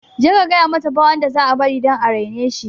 Je ka gayamata ba wanda za a bari dan areneshi